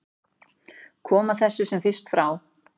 Koma þessu sem fyrst frá.